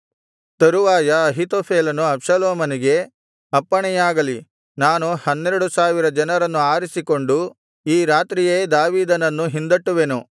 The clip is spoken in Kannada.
ತರುವಾಯ ಅಹೀತೋಫೆಲನು ಅಬ್ಷಾಲೋಮನಿಗೆ ಅಪ್ಪಣೆಯಾಗಲಿ ನಾನು ಹನ್ನೆರಡು ಸಾವಿರ ಜನರನ್ನು ಆರಿಸಿಕೊಂಡು ಈ ರಾತ್ರಿಯೇ ದಾವೀದನನ್ನು ಹಿಂದಟ್ಟುವೆನು